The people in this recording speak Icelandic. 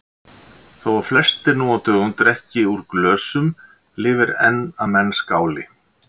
Þó að flestir nú á dögum drekki úr glösum lifir enn að menn skáli.